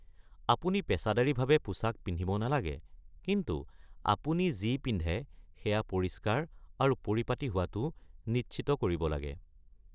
আপুনি পেছাদাৰীভাৱে পোছাক পিন্ধিব নালাগে, কিন্তু আপুনি যি পিন্ধে সেয়া পৰিষ্কাৰ আৰু পৰিপাটি হোৱাটো নিশ্চিত কৰিব লাগে।